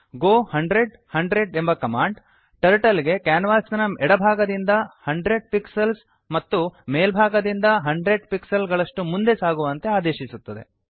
ಗೋ 100100 ಎಂಬ command turtle ಗೆ ಕ್ಯಾನ್ವಾಸಿನ ಎಡಭಾಗದಿಂದ 100 ಪಿಕ್ಸೆಲ್ಸ್ ಮತ್ತು ಮೇಲ್ಭಾಗದಿಂದ 100 ಪಿಕ್ಸೆಲ್ಸ್ ಗಳಷ್ಟು ಮುಂದೆ ಸಾಗುವಂತೆ ಆದೇಶಿಸುತ್ತದೆ